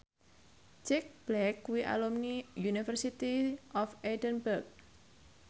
Jack Black kuwi alumni University of Edinburgh